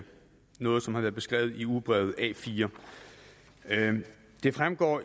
noget som har været beskrevet i ugebrevet a4 det fremgår